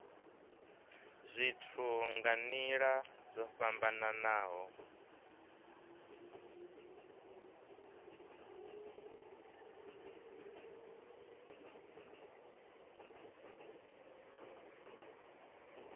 zwithu nga nila dzo fhambanaho